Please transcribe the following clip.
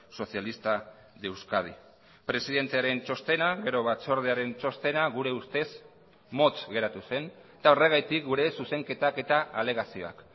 socialista de euskadi presidentearen txostena gero batzordearen txostena gure ustez motz geratu zen eta horregatik gure zuzenketak eta alegazioak